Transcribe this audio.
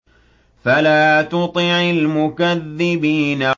فَلَا تُطِعِ الْمُكَذِّبِينَ